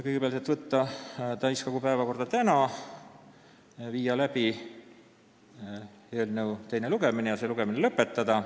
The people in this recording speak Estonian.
Kõigepealt, teha ettepanek võtta eelnõu täiskogu päevakorda tänaseks, viia läbi teine lugemine ja see lõpetada.